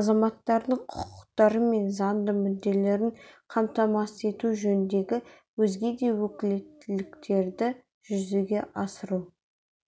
азаматтардың құқықтары мен заңды мүдделерін қамтамасыз ету жөніндегі өзге де өкілеттіктерді жүзеге асыру